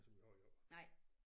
Som vi har gjort